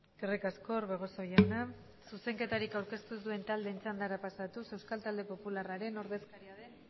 eskerrik asko orbegozo jauna zuzenketarik aurkeztu ez duen taldeen txandara pasatuz euskal talde popularraren ordezkari den